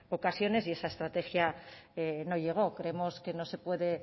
ocasiones y esa estrategia no llegó creemos que no se puede